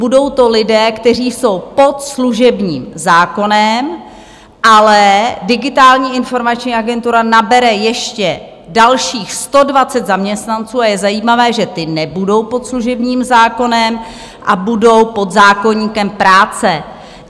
Budou to lidé, kteří jsou pod služebním zákonem, ale Digitální informační agentura nabere ještě dalších 120 zaměstnanců, a je zajímavé, že ti nebudou pod služebním zákonem a budou pod zákoníkem práce.